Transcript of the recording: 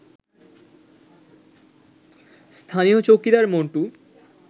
স্থানীয় চৌকিদার মন্টু